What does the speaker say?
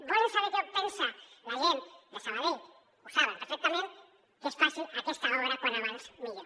volen saber què pensa la gent de sabadell ho saben perfectament que es faci aquesta obra com més aviat millor